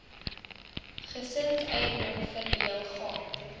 gesinseiendom verdeel gaan